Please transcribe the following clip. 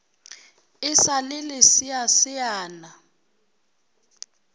e sa le leseasea na